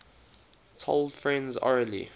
told friends orally